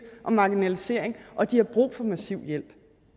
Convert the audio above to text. og marginalisering og de har brug for massiv hjælp